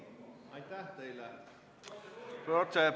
Aitäh teile!